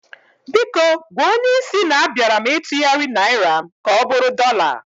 Biko gwa onyé isi na a bịara m ịtugharị Naịra m ka ọbụrụ dọla